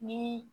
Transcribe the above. Ni